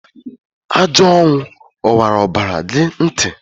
Ajo ọnwụ a wara ọbara gi nti?